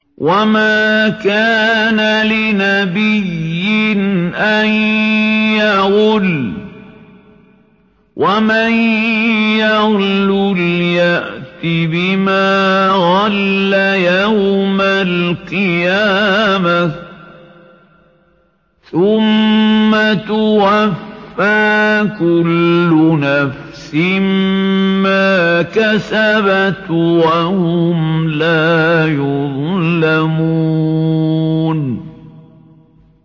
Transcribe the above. وَمَا كَانَ لِنَبِيٍّ أَن يَغُلَّ ۚ وَمَن يَغْلُلْ يَأْتِ بِمَا غَلَّ يَوْمَ الْقِيَامَةِ ۚ ثُمَّ تُوَفَّىٰ كُلُّ نَفْسٍ مَّا كَسَبَتْ وَهُمْ لَا يُظْلَمُونَ